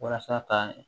Walasa ka